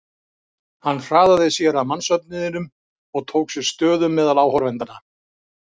Hann hraðaði sér að mannsöfnuðinum og tók sér stöðu meðal áhorfendanna.